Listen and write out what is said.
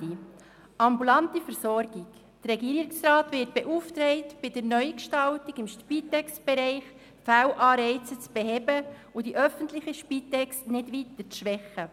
Ambulante Versorgung: Der Regierungsrat wird beauftragt, bei der Neugestaltung im Spitex-Bereich Fehlanreize zu beheben und die öffentliche Spitex nicht weiter zu schwächen.